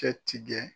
Cɛ tigɛ